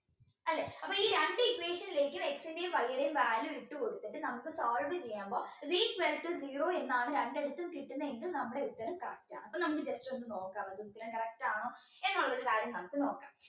രണ്ട് equation ലേക്കും X ന്റെയും Y ടയും value ഇട്ടുകൊടുത്തിട്ട് നമുക്ക് solve ചെയ്യുമ്പോൾ is equal to zero എന്നാണ് രണ്ടിടത്തും കിട്ടുന്നത് എങ്കിൽ നമ്മുടെ ഉത്തരം correct ആണ് അപ്പൊ നമുക്ക് just ഒന്ന് നോക്കാം correct ആണോ എന്നുള്ള കാര്യം നമുക്ക് നോക്കാം